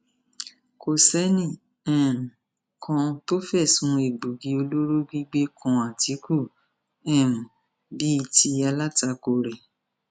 kò sẹnì um kan tó fẹsùn egbòogi olóró gbígbé kan àtìkù um bíi ti alátakò rẹ